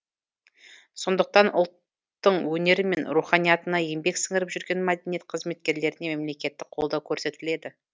сондықтан ұлттың өнері мен руханиятына еңбек сіңіріп жүрген мәдениет қызметкерлеріне мемлекеттік қолдау көрсетіледі